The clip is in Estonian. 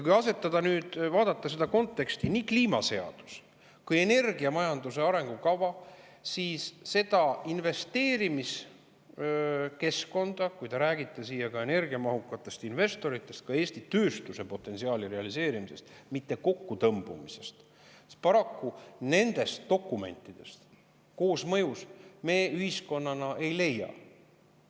Kui vaadata selles kontekstis nii kliimaseadust kui ka energiamajanduse arengukava, siis investeerimiskeskkonda, kui te räägite ka energiamahukatest investoritest, Eesti tööstuse potentsiaali realiseerimisest, mitte kokkutõmbumisest, me paraku ühiskonnana nendest dokumentidest nende koosmõjus ei leia.